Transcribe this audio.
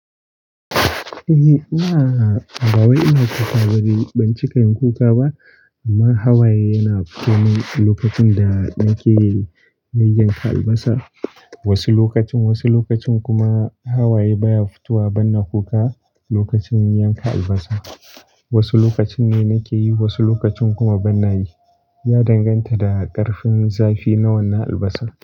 Eh ina, bawai ina wani ɗan ciki kuka ba, amma hawaye yana fito min lokacin da nake yayyanka albasa. Wasu lokacin, wasu lokacin kuma hawaye baya fito wa ban na kuka lokacin yanka albasa. Wasu lokacin ne nake yi, wasu lokacin kuma ban nayi. Ya danganta da ƙarfin zafi na wannan albasar.